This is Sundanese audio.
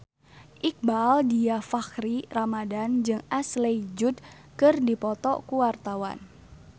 Iqbaal Dhiafakhri Ramadhan jeung Ashley Judd keur dipoto ku wartawan